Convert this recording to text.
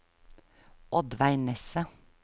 Oddveig Nesse